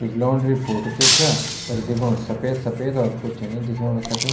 कुछ laundry photo च स्या तख दिखेणु सफेद सफेद और कुछ नि दिखेणु तख।